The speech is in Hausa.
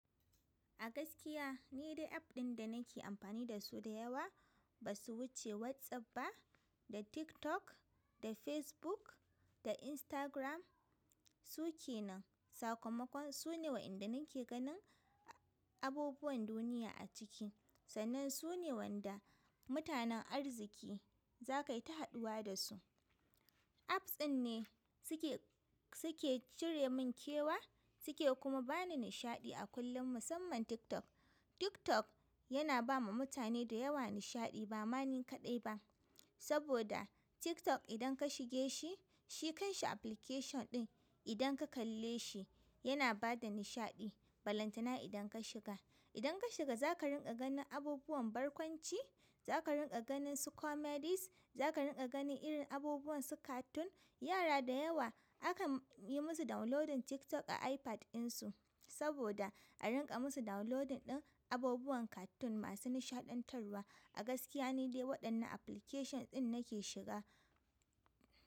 A gaskiya ni dai app ɗin da nake amfani da su da yawa ba su wuce WhatsApp ba, da TikTok, da Facebook, da Instagram. Su ke nan sakamakon su ne wa inda nake ganin abubuwan duniya a ciki. Sannan su ne wanda mutanen arziki za ka yi ta haduwa da su. Apps ɗin ne suke, suke cire min kewa suke kuma ba ni nishaɗi a kullum musamman TikTok. Tiktok yana ba ma mutane da yawa nishaɗi, ba ma ni kaɗai ba. Saboda TikTok idan ka shige shi, shi kan shi application ɗin idan ka kalle shi yana ba da nishaɗi balantana idan ka shiga. Idan ka shiga za ka rinƙa ganin abubuwan barkwanci, za ka rinƙa ganin su comedies, za ka rinƙa ganin irin abubuwan su cartoon. Yara da yawa akan yi musu downloading TikTok a iPad ɗinsu saboda a rinƙa musu downloading ɗin abubuwan cartoon masu nishaɗantarwa. A gaskiya ni dai waɗannan application ɗin nake shiga.